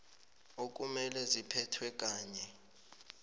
okumele ziphethwe kanye